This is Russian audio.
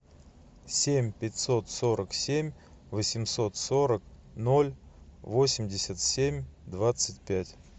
семь пятьсот сорок семь восемьсот сорок ноль восемьдесят семь двадцать пять